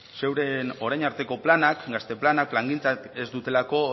zuen orain arteko planak gazte planak plangintzak ez dutelako